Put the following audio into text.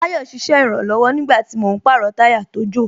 Ayo ṣiṣẹ́ ìrànlọ̀wọ̀ nígbàtí mò ń pàrọ̀ táyà tó jò